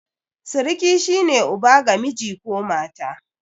Siriki shi ne uba ga miji ko mata.